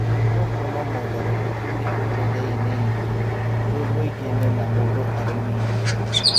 Nĩ tũkuona mogarũrũku mĩtũrĩre-inĩ itũ twĩ mũingĩ-inĩ na mũndũ arĩ wĩke.